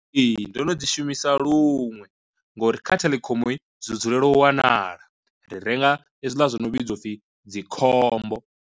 Ee ndo no dzi shumisa luṅwe ngori kha theḽekhomo zwi dzulela u wanala, ri renga hezwiḽa zwo no vhidzwa upfhi dzi khombo.